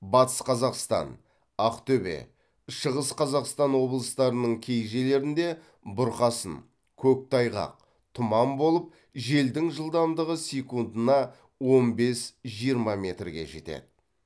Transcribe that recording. батыс қазақстан ақтөбе шығыс қазақстан облыстарының кей жерлеріңде бұрқасын көктайғақ тұман болып желдің жылдамдығы секундына он бес жиырма метрге жетеді